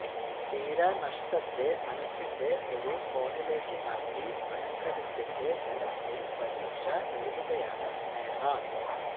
തീരാനഷ്ടത്തെ മനസ്സിന്റെ ഒരു കോണിലേക്ക് മാറ്റി മനക്കരുത്തിന്റെ ബലത്തിൽ പരീക്ഷ എഴുതുകയാണ് സ്നേഹ